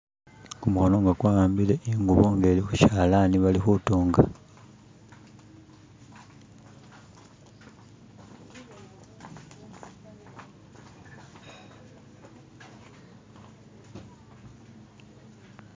Kumukhono nga kwahambile ingubo khushalani balikhutunga